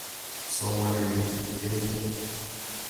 Somane yu tupchet nyu.